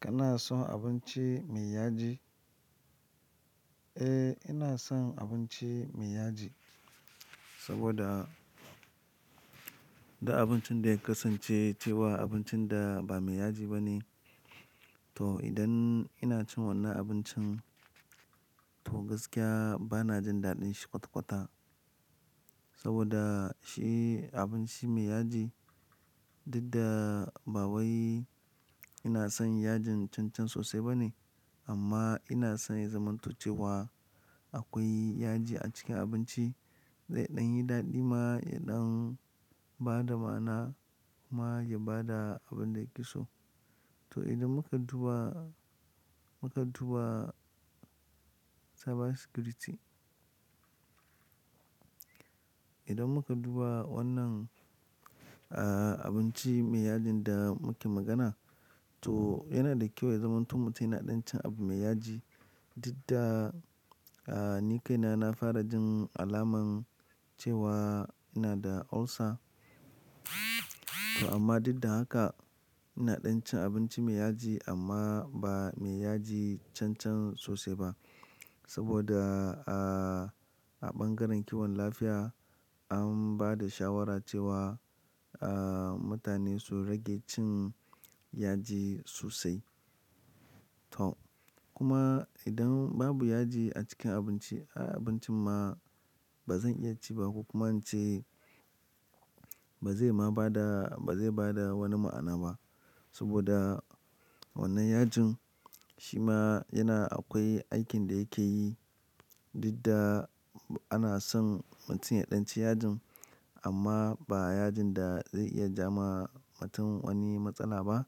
Kana son abinci mai yaji? Eh, ina son abinci mai yaji saboda da abincin da ya kasance cewa abincin da ba mai yaji ba ne. To, idan ina cin wannan abincin to gaskiya bana jin daɗin shi kwata-kwata saboda shi abinci mai yaji. Dida ba wai ina son yajin cancan sosai ba ne amma ina son ya zamanto cewa akwai yaji a cikin abinci. Zai ɗan yi daɗi ma, ya ɗan ba da ma'ana ma ya ba da abin da yake so. To, idan muka duba, muka duba cyber security. Idan muka duba wannan, ah, abinci mai yajin da muke magana, to yana da kyau ya zamanto mutum yana ɗan cin abu mai yaji. Dida, ah, ni kaina na fara jin alaman cewa ina da ulcer. To amma duk da haka ina ɗan cin abinci mai yaji amma ba mai yaji cancan sosai ba. Saboda, ah, a ɓangaren kiwon lafiya an ba da shawara cewa, ah, mutane su rage cin yaji sosai. To, kuma idan babu yaji a cikin abinci, abincin ma ba zan iya ci ba ko kuma in ce ba zai ma ba da, ba zai ba da wani ma'ana ba. Saboda wannan yajin shi ma yana akwai aikin da yake yi. Dida ana son mutum ya ɗan ci yajin amma ba yajin da zai iya ja ma mutum wani matsala ba.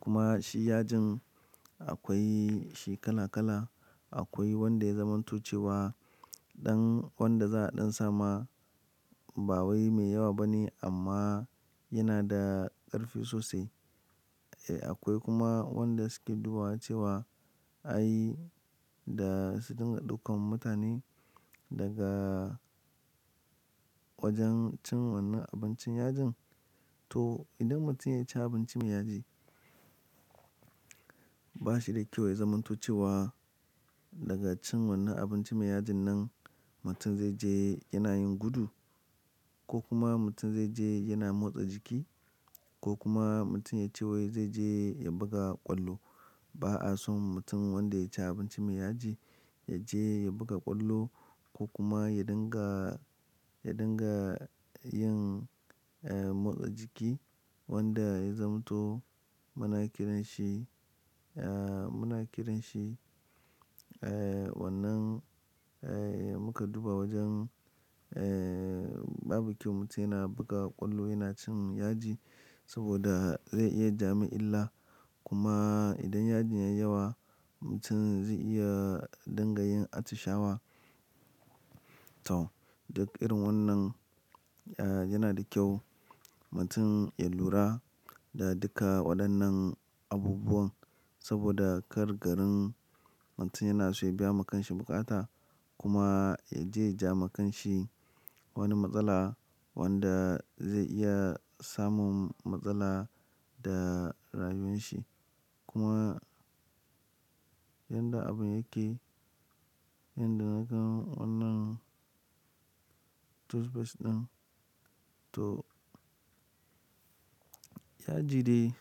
Kuma shi yajin akwai shi kala kala. Akwai wanda ya zamanto cewa ɗan, wanda za a ɗan sama ba wai mai yawa ba ne amma yana da ƙarfi sosai. Eh, akwai kuma wanda suke duba cewa ai da su dinga daukan mutane daga wajen cin wannan abincin yajin. To, idan mutum ya ci abinci mai yaji ba shi da kyau ya zamanto cewa daga cin wannan abinci mai yajin nan mutum zai je yana yin gudu ko kuma mutum zai je yana motsa jiki ko kuma mutum ya ce wai zai je ya buga ƙwallo. Ba'a son mutum wanda ya ci abinci mai yaji ya je ya buga ƙwallo ko kuma ya dinga, ya dinga yin, eh, motsa jiki wanda ya zamanto muna kiranshi, eh, muna kiranshi, eh, wannan, eh, muka duba wajen, eh, babu kyau mutum yana buga ƙwallo yana cin yaji saboda zai iya ja ma illa. Kuma idan yajin ya yi yawa mutum zai iya dinga yin atishawa. To, duk irin wannan, ah, yana da kyau mutum ya lura da duka waɗannan abubuwan saboda kar garin mutum yana so ya biya wa kanshi bukata kuma ya je ja wa kanshi wani matsala wanda zai iya samun matsala da rayuwan shi. Kuma yanda abun yake, yanda nakan wannan toothbrush ɗin, to yaji ɗe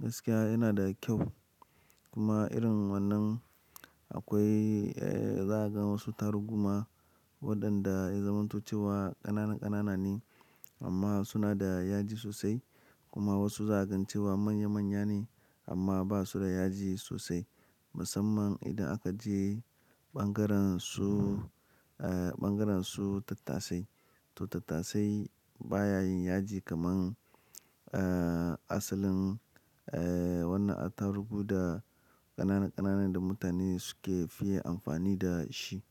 gaskiya yana da kyau. Kuma irin wannan akwai, eh, za'a ga wasu tarugu ma waɗanda ya zamanto cewa ƙanana ƙanana ne amma suna da yaji sosai. Kuma wasu za'a gan cewa manya manya ne amma ba su da yaji sosai. Musamman idan aka je ɓangaren su, ah, ɓangaren su tattasai. To, tattasai baya yin yaji kaman, ah, asalin, eh, wannan tarugu da ƙanana ƙanana da mutane suke fiye amfani da shi.